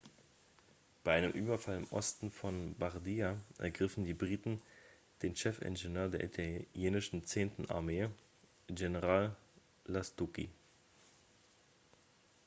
bei einem überfall im osten von bardia ergriffen die briten den chefingenieur der italienischen zehnten armee general lastucci